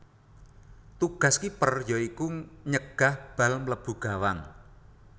Tugas kiper ya iku nyegah bal mlebu gawang